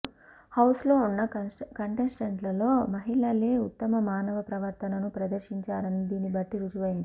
హౌస్లో ఉన్న కంటెస్టెంట్లలో మహిళలే ఉత్తమ మానవ ప్రవర్తనను ప్రదర్శించారని దీనిని బట్టి రుజువైంది